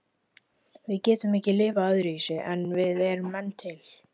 Við getum ekki lifað öðruvísi en við erum menn til.